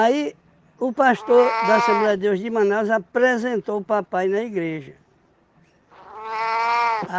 o pastor da Assembleia de Deus de Manaus apresentou o papai na igreja.